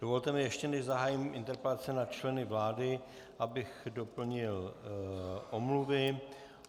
Dovolte mi, ještě než zahájím interpelace na členy vlády, abych doplnil omluvy.